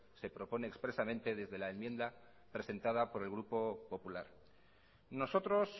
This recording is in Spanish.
se propone expresamente desde la enmienda presentada por el grupo popular nosotros